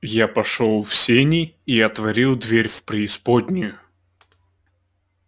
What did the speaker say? я пошёл в сени и отворил дверь в преисподнюю